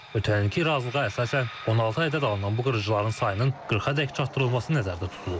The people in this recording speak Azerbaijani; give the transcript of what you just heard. Ötən ilki razılığa əsasən 16 ədəd alınan bu qırıcıların sayının 40 ədəd çatdırılması nəzərdə tutulub.